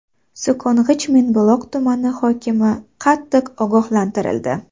So‘kong‘ich Mingbuloq tumani hokimi qattiq ogohlantirildi.